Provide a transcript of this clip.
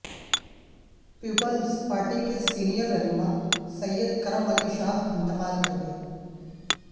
Peoples Party کے senior رہنما سید کرم علی شاہ انتقال کر گئے